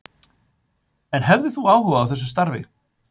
En hefðirðu áhuga á þessu starfi?